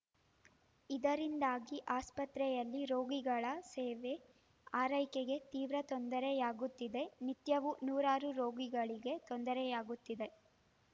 ಇದರಿಂದಾಗಿ ಆಸ್ಪತ್ರೆಯಲ್ಲಿ ರೋಗಿಗಳ ಸೇವೆ ಆರೈಕೆಗೆ ತೀವ್ರ ತೊಂದರೆಯಾಗುತ್ತಿದೆ ನಿತ್ಯವೂ ನೂರಾರು ರೋಗಿಗಳಿಗೆ ತೊಂದರೆಯಾಗುತ್ತಿದೆ